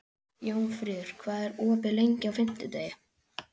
Jónfríður, hvað er opið lengi á fimmtudaginn?